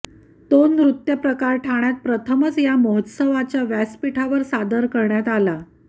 तो नृत्य प्रकार ठाण्यात प्रथमच या महोत्सवाच्या व्यासपीठावर सादर करण्यात आला